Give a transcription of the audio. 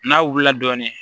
N'a wulila dɔɔnin